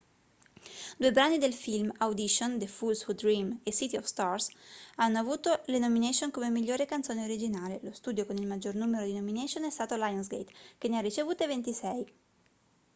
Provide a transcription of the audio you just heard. due brani del film audition the fools who dream e city of stars hanno avuto le nomination come migliore canzone originale. lo studio con il maggior numero di nomination è stato lionsgate che ne ha ricevute 26